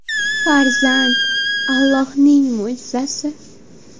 Farzand Allohning mo‘jizasi.